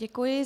Děkuji.